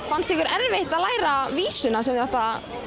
fannst ykkur erfitt að læra vísuna sem þið áttuð